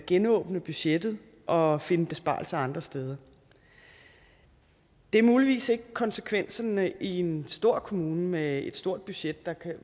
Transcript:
genåbne budgettet og finde besparelser andre steder det er muligvis ikke konsekvenserne i en stor kommune med et stort budget